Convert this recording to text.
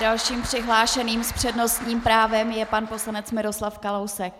Dalším přihlášeným s přednostním právem je pan poslanec Miroslav Kalousek.